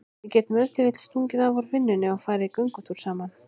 Við getum ef til vill stungið af úr vinnunni og farið í göngutúr saman.